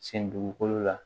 Sen dugukolo la